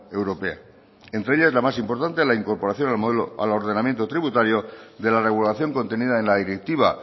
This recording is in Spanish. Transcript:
europea entre ellas la más importante la incorporación del modelo al ordenamiento tributario de la regulación contenida en la directiva